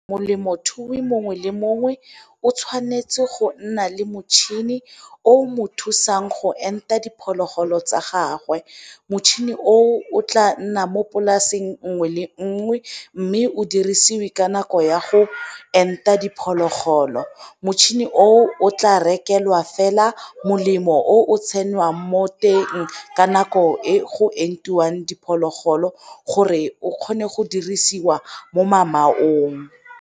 Molemothui mongwe le mongwe o tshwanetse go nna le motšhini o mo thusang go enta diphologolo tsa gagwe, motšhini o tla nna mo polaseng nngwe le nngwe mme o dirisiwe ka nako ya go o enta diphologolo. Motšhini o tla rekelwa fela molemo o tshelwang mo teng ka nako e go entiwang diphologolo gore o kgone go dirisiwa mo mamaong.